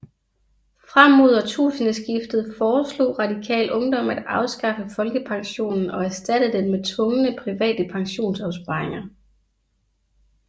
Frem mod årtusindeskiftet foreslog Radikal Ungdom at afskaffe folkepensionen og erstatte den med tvungne private pensionsopsparinger